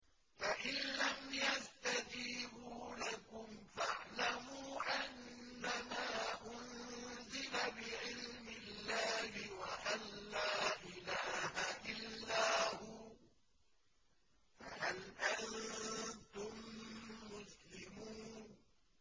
فَإِلَّمْ يَسْتَجِيبُوا لَكُمْ فَاعْلَمُوا أَنَّمَا أُنزِلَ بِعِلْمِ اللَّهِ وَأَن لَّا إِلَٰهَ إِلَّا هُوَ ۖ فَهَلْ أَنتُم مُّسْلِمُونَ